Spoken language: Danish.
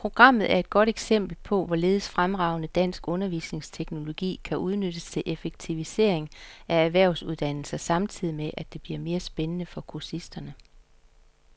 Programmet er et godt eksempel på, hvorledes fremragende dansk undervisningsteknologi kan udnyttes til effektivisering af erhvervsuddannelser samtidig med, at det bliver mere spændende for kursisterne.